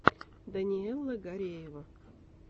даниэла гареева